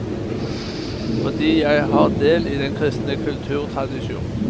Fordi jeg har del i den kristne kulturtradisjon.